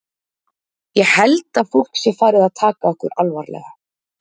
Ég held að fólk sé farið að taka okkur alvarlega.